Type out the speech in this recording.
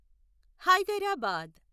Hyderabad